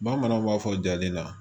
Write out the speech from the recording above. Bamananw b'a fɔ jaaden na